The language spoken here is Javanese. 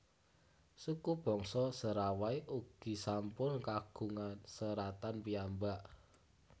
Suku bangsa Serawai ugi sampun kagungan seratan piyambak